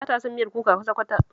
Ba ta son miyar kuka kwata-kwata